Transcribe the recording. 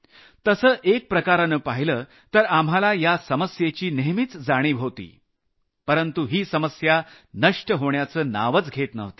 तसं एक प्रकारानं पाहिलं तर आपल्याला या समस्येची नेहमीच जाणीव होती परंतु ही समस्या नष्ट होण्याचं नावच घेत नव्हती